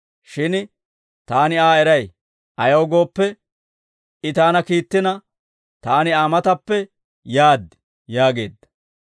Shin taani Aa eray; ayaw gooppe, I taana kiittina, taani Aa matappe yaad» yaageedda.